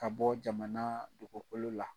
Ka bɔ jamana dogokolo la